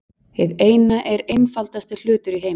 Hið Eina er einfaldasti hlutur í heimi.